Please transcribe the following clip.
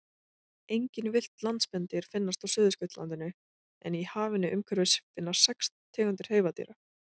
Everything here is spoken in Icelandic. Engin villt landspendýr finnast á Suðurskautslandinu en í hafinu umhverfis finnast sex tegundir hreifadýra.